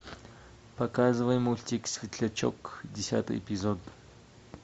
показывай мультик светлячок десятый эпизод